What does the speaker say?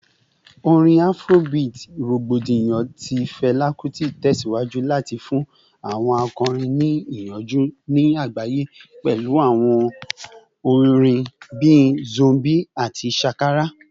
Orin Afrobeat rogbodiyan ti Fela Kuti tẹsiwaju lati fun awọn akọrin ni iyanju ni agbaye pẹlu awọn awo-orin bii “Zombie” ati “Shakara”